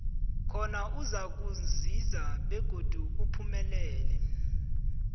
khona uzakuzinza begodi uphumelele